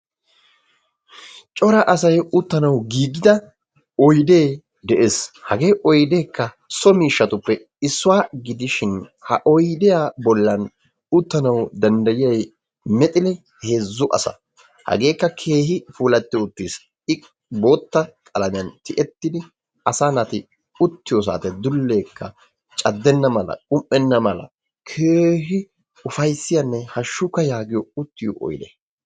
Cora asay uttanawu giigida oyidee de'es. Hagee oyideekka so miishshatuppe issuwa gidishin ha oyidiya bollan uttanawu danddayiyay mexili heezzu asa. Hageekka keehi puulattidi uttis. I bootta qalamiyan tiyettidi asaa naati uttiyo saatiyan dulleekka caddenna mala qum'enna mala keehi ufayissiyanne hashshukka yaagiyo uttiyo oyide.